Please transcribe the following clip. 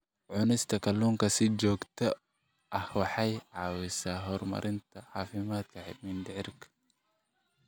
Cunista kalluunka si joogto ah waxay caawisaa horumarinta caafimaadka mindhicirka.